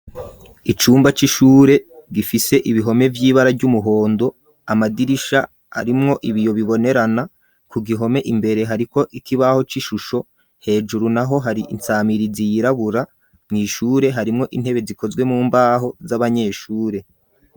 Icumba c'ishure gifise ibihome vy'ibara ry'umuhondo ,amadirisha arimwo ibiyo bibonerana ,ku gihome imbere hariko ikibaho c'ishusho, hejuru naho hari insamirizi yirabura, mw'ishure harimwo intebe zikozwe mu mbaho z'abanyeshure.